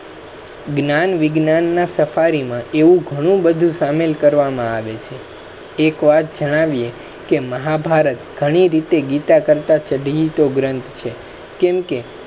જ્ઞાન વિજ્ઞાન ના સફારી મા એવુ ઘણુ બધુ સામિલ કરવા મા આવે છે. એક વાત જણાવીએ મહાભારત ઘણી રીતે ગીતા કરતા ચડીતો ગ્રંથ છે કેમ કે,